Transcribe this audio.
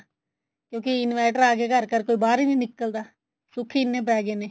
ਕਿਉਂਕ inverter ਆ ਗਏ ਘਰ ਘਰ ਕੋਈ ਬਾਹਰ ਹੀ ਨਹੀਂ ਨਿਕਲਦਾ ਸੁੱਖ ਹੀ ਇੰਨੇ ਪੈ ਗਏ ਨੇ